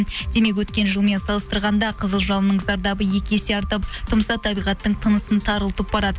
демек өткен жылмен салыстырғанда қызыл жалынның зардабы екі есе артып тұмса табиғаттың тынысын тарылтып барады